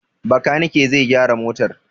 Bakanike zai gyara motar.